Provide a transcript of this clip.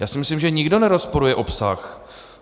Já si myslím, že nikdo nerozporuje obsah.